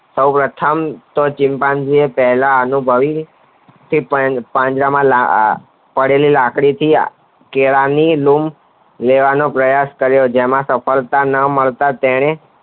સૌ પ્રથમ ચિમ્પાજીન પહેલા અનુભવી ફિર પાંજરામાં પડેલી લાકડી થી કેળા ની લૂમ લેવાનો પ્રયાસ કર્યો જેમાં સફળતા ન મળતા તેને